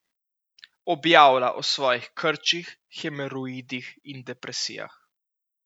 Objavlja o svojih krčih, hemoroidih in depresijah.